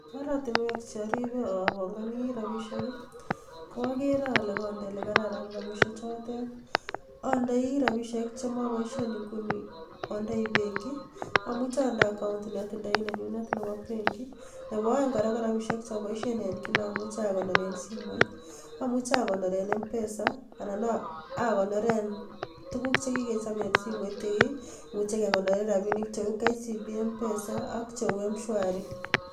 Oratinwek cheoribe obongoni rabishek i,ko ogeere ole konde ole kararan rabishechotet, android rabisiek chemoboisyee inguni ondoi benkii, amuche ande akaon, neotindoi nenyunet Nebo benkii, KO any rabinik cheoboshien an kila betut amuche akonoreen simoit. Amuche akonoren mpesa anan akonoren tuguuk chekikechob en simoit cheu mswari ak kcb mpesa.